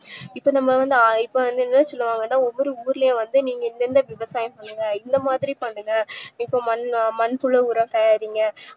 இப்போ நம்ம வந்து இப்போ வந்து என்ன சொல்லுவாங்கனா ஒவ்வொரு ஊர்லயூம் வந்து நீங்க இந்த விவசாயம் பண்ணுங்க இந்தமாதிரி பண்ணுங்க இப்போ மண்ல மண்புழு உரம் தயாரிங்க